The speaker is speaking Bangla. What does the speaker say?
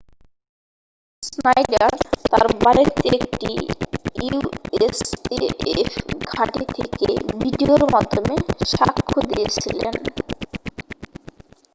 স্নাইডার তার বাড়িতে একটি usaf ঘাঁটি থেকে ভিডিওর মাধ্যমে সাক্ষ্য দিয়েছিলেন